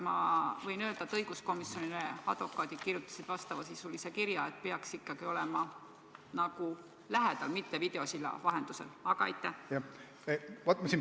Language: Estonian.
Ma võin siia juurde öelda, et advokaadid kirjutasid õiguskomisjonile kirja, et kaitsja peaks ikkagi olema süüdistatavale lähedal, mitte suhtlema temaga videosilla vahendusel.